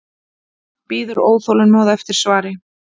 Bíður óþolinmóð eftir svari.